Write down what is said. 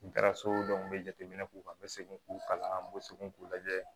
N taara so n bɛ jateminɛ k'u kan n bɛ segin k'u kalan n bɛ segin k'u lajɛ